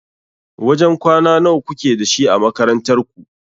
Wajen kwana nawa kuke da shi a makarantar ku?